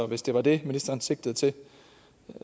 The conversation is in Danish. hvis det var det ministeren sigtede til